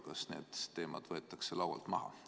Kas need teemad võetakse laualt maha?